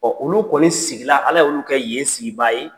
olu kɔni sigila Ala y'olu kɛ yen sigibaa ye.